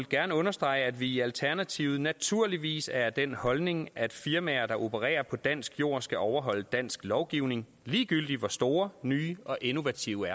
gerne understrege at vi i alternativet naturligvis er af den holdning at firmaer der opererer på dansk jord skal overholde dansk lovgivning ligegyldigt hvor store nye og innovative